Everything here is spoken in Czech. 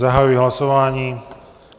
Zahajuji hlasování.